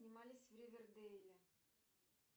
снимались в ривердейле